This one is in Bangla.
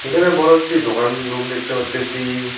এখানে বড় একটি দোকান রুম দেখতে পারতেসি।